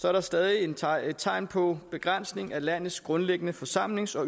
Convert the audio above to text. er der stadig tegn tegn på begrænsning af landets grundlæggende forsamlings og